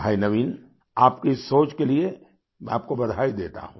भाई नवीन आपकी सोच के लिए मैं आपको बधाई देता हूँ